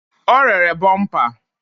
O rere bọmpa